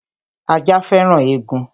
Ajá féràn egun